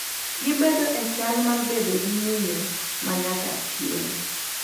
Gibedo e chal mar bedo gi ng’iyo ma nyaka chieng’.